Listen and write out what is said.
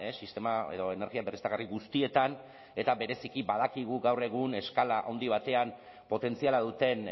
sistema edo energia berriztagarri guztietan eta bereziki badakigu gaur egun eskala handi batean potentziala duten